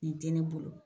Nin tɛ ne bolo